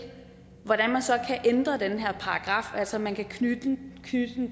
hvordan man så kan ændre den her paragraf altså man kan knytte den